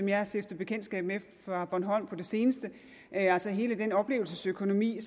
jeg har stiftet bekendtskab med fra bornholm på det seneste altså hele den oplevelsesøkonomi